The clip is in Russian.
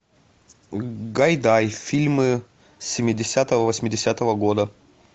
гайдай фильмы семидесятого восьмидесятого года